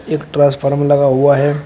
एक ट्रांसफार्मर लगा हुआ है।